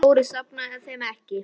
Þórir safnaði þeim ekki.